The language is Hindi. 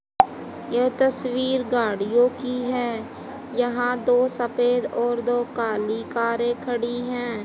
यह तस्वीर गाड़ियों की है यहां दो सफेद और दो काली कारें खड़ी हैं।